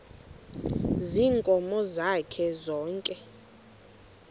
ziinkomo zakhe zonke